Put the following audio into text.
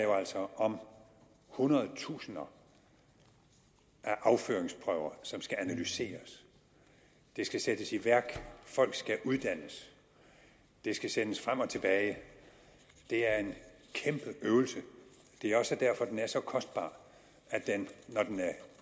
om hundredtusinder af afføringsprøver som skal analyseres det skal sættes i værk folk skal uddannes og det skal sendes frem og tilbage det er en kæmpe øvelse og det er også derfor den er så kostbar at den når den er